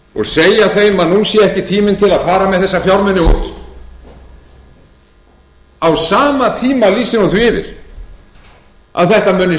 og segja þeim að nú sé ekki tími til að fara með þessa fjármuni út á sama tíma lýsir hún því yfir að þetta muni standa mjög